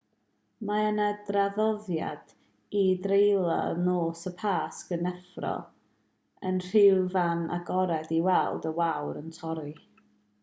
mae yna draddoddiad i dreulio nos y pasg yn effro yn rhyw fan agored i weld y wawr yn torri